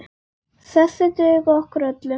Þessir duga okkur öllum.